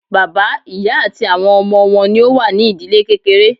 Bàbá, ìyá àti àwọn ọmọ wọn ní o wà ní ìdílé kékeré.